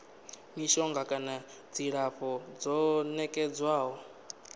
mishonga kana dzilafho ḽo nekedzwaho